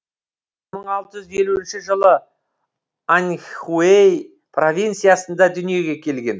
мың алты жүз елуінші жылы аньхуей провинциясында дүниеге келген